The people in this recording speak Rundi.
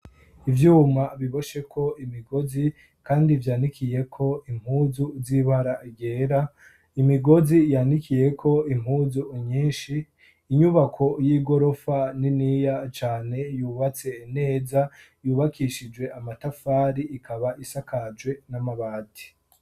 Ivyuma bibosheko imigozi, kandi vyandikiyeko impuzu zibara gera imigozi yandikiyeko impuzu unyinshi inyubako y'igorofa niniya cane yubatse neza yubakishijwe amatafari ikaba isakajwe n'amabati.